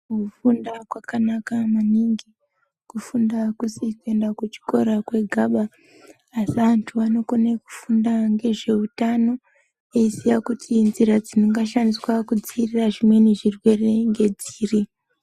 Kufunda kwakanaka maningi. Kufunda akusi kuenda kuchiro kwegaba asi antu anokone kufunda ngezveutano. Eiziya kuti nzira dzingashandiswa kudzivirira zvimweni zvirwere ngedziri.